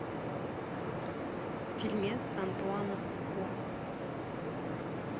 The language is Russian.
фильмец антуана фукуа